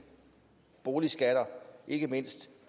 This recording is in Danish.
boligskatter ikke mindst